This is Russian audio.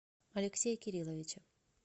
алексея кирилловича